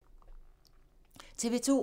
TV 2